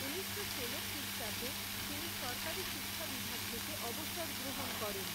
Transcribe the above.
ঊনিশশো ষোলো খ্রীষ্টাব্দে, তিনি সরকারী শিক্ষা বিভাগ থেকে, অবসর গ্ৰহণ করেন।